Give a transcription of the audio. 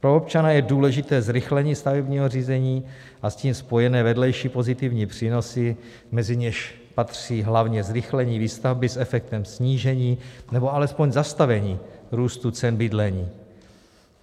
Pro občana je důležité zrychlení stavebního řízení a s tím spojené vedlejší pozitivní přínosy, mezi něž patří hlavně zrychlení výstavby s efektem snížení, nebo alespoň zastavení růstu cen bydlení.